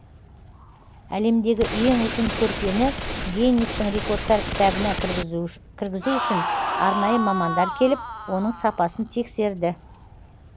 әлемдегі ең ұзын көрпені геннистің рекордтар кітабына кіргізу үшін арнайы мамандар келіп оның сапасын тексерді